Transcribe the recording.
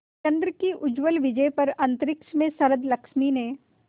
चंद्र की उज्ज्वल विजय पर अंतरिक्ष में शरदलक्ष्मी ने